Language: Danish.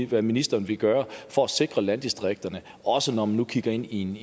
hvad ministeren vil gøre for at sikre landdistrikterne også når man nu kigger ind i en